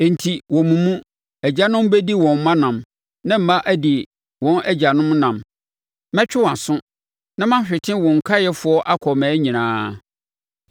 Enti, wɔ mo mu, agyanom bɛdi wɔn mma nam na mma adi wɔn agyanom nam. Mɛtwe wʼaso na mahwete wo nkaeɛfoɔ akɔ mmaa nyinaa.